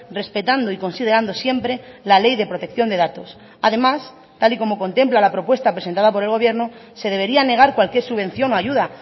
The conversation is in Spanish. respetando y considerando siempre la ley de protección de datos además tal y como contempla la propuesta presentada por el gobierno se debería negar cualquier subvención o ayuda